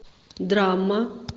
драма